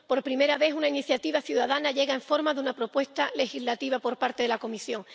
Por primera vez, una iniciativa ciudadana llega en forma de propuesta legislativa por parte de la Comisión.